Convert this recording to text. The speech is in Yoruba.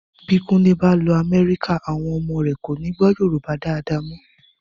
Bí kúnlé bá lọ Amerika, àwọn ọmọ rẹ̀ kọ́ni gbọ́ Yorùbá dáadáa mọ.